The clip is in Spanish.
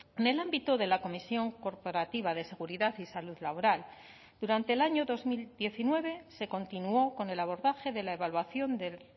en el ámbito de la comisión corporativa de seguridad y salud laboral durante el año dos mil diecinueve se continuó con el abordaje de la evaluación del